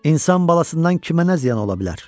İnsan balasından kimə nə ziyan ola bilər?